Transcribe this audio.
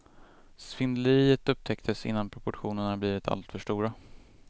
Svindleriet upptäcktes innan proportionerna blivit alltför stora.